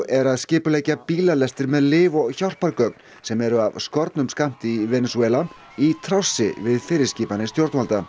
er að skipuleggja bílalestir með lyf og hjálpargögn sem eru af skornum skammti í Venesúela í trássi við fyrirskipanir stjórnvalda